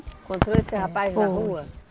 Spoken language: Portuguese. Encontrou esse rapaz na rua?